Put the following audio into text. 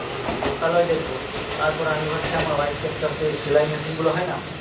লোকালয় দেখবো তারপর আমি ভাবছি আমার wife কে একটা সেই সেলাই machine গুলো হয় না